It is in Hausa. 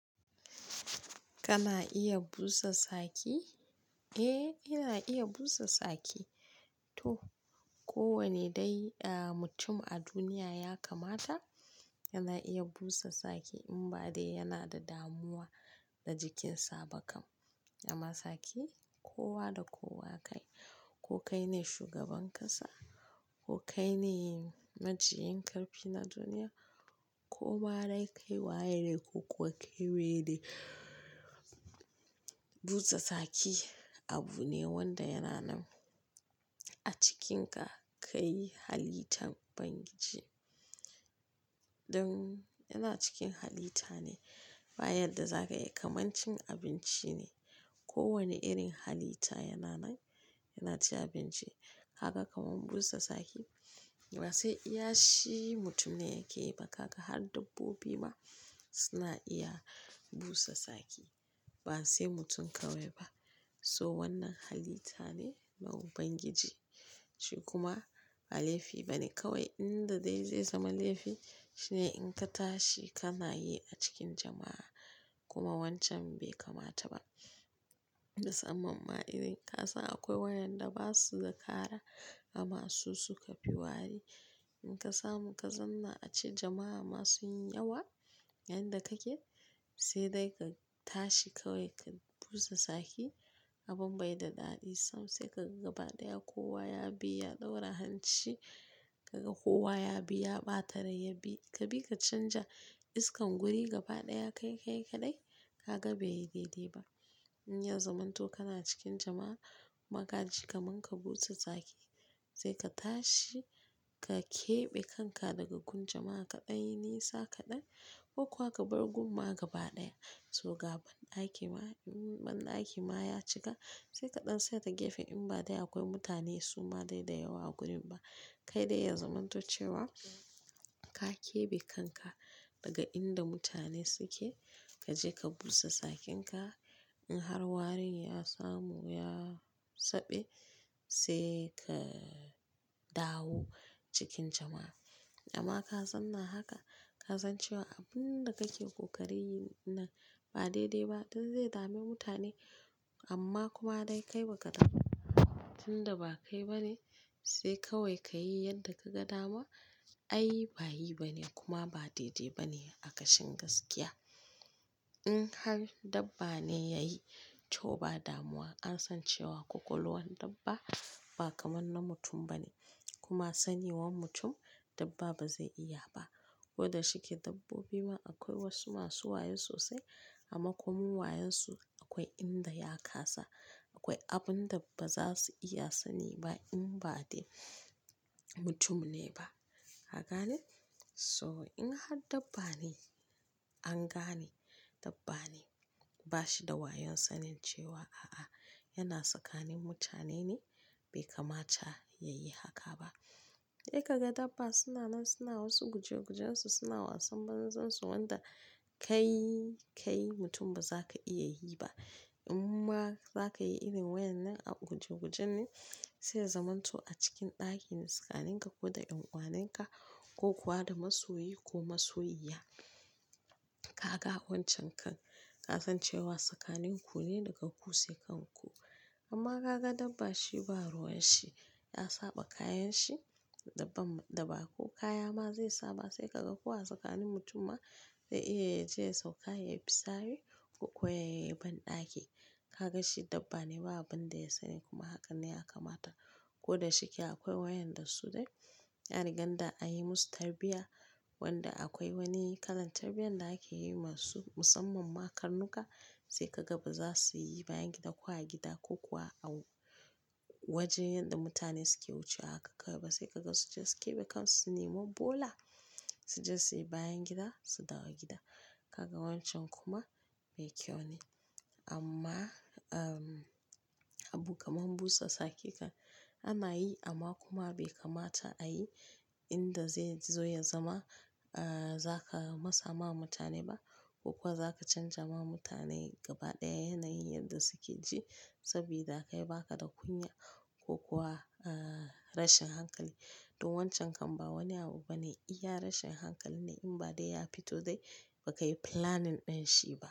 Kana iya busa saki? Eh, ina iya busa saki. To, kowanne dai mutum a duniya ya kamata yana iya busa saki in ba dai yana da damuwa da jikinsa ba kam. Amma saki, kowa da kowa kai. Ko kai ne shugaban ƙasa, ko kai ne majinyin ƙarfi na duniya, ko ma dai kai waye ne ko kuwa kai wane ne. Busa saki abu ne wanda yana nan a cikinka, kai halitan Ubangiji. Don yana cikin halitta ne. Ba yadda za ka yi, kamar cin abinci ne. Kowanne irin halita yana nan, yana cin abinci. Haka kamar busa saki, ba sai iya shi mutum ne yake yi ba, kaka har dabbobi ma suna iya busa saki. Ba sai mutum kawai ba. So wannan hallitta ne na Ubangiji. Shi kuma ba laifi bane kawai in da dai zai zama laifi shi ne in ka tashi ka na yi a cikin jama'a. Kuma wancan bai kamata ba. Musamman ma irin kasan akwai wa'yan da ba su da kara amma su suka fi wari. In ka samu ka zauna ace jama'a masu yin yawa inda kake, sai dai ka tashi kawai ka busa saki. Abin bai da daɗi sosai ka gaba ɗaya kowa ya bi ya ɗaura hanci. Kaga kowa ya bi ya ɓata rai, ya bi ka bi ka canja iskan guri gaba ɗaya kai ka yi kaɗai, ka ga bai yi daidai ba. In ya zamanto kana cikin jama'a ma k aji kaman ka busa saki, sai ka tashi ka keɓe kanka daga gun jama'a ka ɗan yi nisa kaɗan ko kuwa ka bar gun ma gaba ɗaya. To ga ban-ɗaki ma in banɗaki ma ya cika sai kaɗan tsaya ta gefe in ba dai akwai mutane suma dai da yawa a gurin ba. Kai dai ya zamanto cewa ka keɓe kanka daga inda mutane suke, ka je ka busa sakinka. In har warin ya samu ya saɓe sai ka dawo cikin jama'a. Amma ka zauna haka, ka san cewa abun da kake ƙoƙari yi ɗin nan ba daidai ba don zai dami mutane amman kuma dai kai baka tunda ba kai bane sai kawai kayi yanda kaga dama. Ai ba yi bane kuma ba daidai bane a kashin gaskiya. In har dabba ne yayi toh ba damuwa an san cewa kwakwaluwan dabba ba kaman na mutun bane kuma saniwan mutum dabba ba zai iya ba. Ko da shike dabbobi ma akwai wasu masu wayo sosai amma komin wayonsu akwai inda ya ƙasa. Akwai abun da ba za su iya su sani ba in ba dai mutum ne ba. Haka ne? So in har dabba ne an gane dabba ne. Ba shi da wayon sanin cewa a'a yana tsakanin mutane ne bai kamata ya yi haka ba. Sai ka ga dabba suna nan suna wasu gujegujen su suna wasan banza su wanda kai, kai mutum ba za ka iya yi ba. In ma za ka yi irin wayen nan a gujeguje ne sai ya zamanto a cikin ɗakina tsakanin ka ko da ƴan ƙwanenka ko kuwa da masoyi ko masoyiƴa. Kaga wancan kan kasan cewa tsakanin ku ne daga ku sai kan ku. Amma ka ga dabba shi ba ruwan shi, ya saɓa kayan shi, dabba, dabba ko kaya ma zai saɓa sai ka ga kowa tsakanin mutum ma zai iya ya je ya sauka ya yi fisari ko kuwa ya yi banɗaki. Ka ga shi dabba ne ba abin da ya sani kuma hakan ne ya kamata. Ko da shike akwai wayanda su dai, an rigan da an yi musu tarbiyya wanda akwai wani kalan tarbiyyar da ake yi masu musamman ma karnuka sai ka gaba za su yi bayan gida ko a gida ko kuwa a wajen yadda mutane suke wucewa haka kawai ba sai ka ga su ji su keɓe kansu su nema bola. Su je su yi bayan gida su dawo gida. Kaga wancan kuma mai kyau ne. Amma, umm, abu kamar busa saki kan ana yi amma kuma bai kamata a yi inda zai zo ya zama, ahh, za ka masa ma mutane ba ko kuwa za ka canja ma mutane gaba ɗaya yanayin yadda suke ji saboda kai baka da kunya ko kuwa, ahh, rashin hankali. Don wancan kan ba wani abu ba ne iya rashin hankali ne in ba dai ya fito dai ba ka yi planning ɗin shi ba.